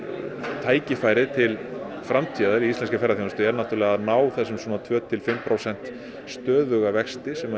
tækifærið til framtíðar í íslenskri ferðaþjónustu er að á þessum tveimur til fimm prósenta stöðuga vexti sem